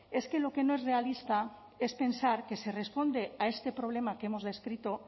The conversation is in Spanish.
es que lo que no es realista es pensar que se responde a este problema que hemos descrito